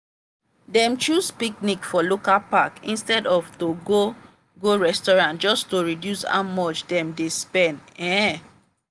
dem choose picnic for local park instead of to go go restaurant just to reduce how much dem dey spend. um